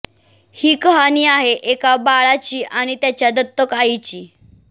ही कहाणी आहे एका बाळाची आणि त्याच्या दत्तक आईची